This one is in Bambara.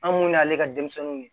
An mun y'ale ka denmisɛnninw ye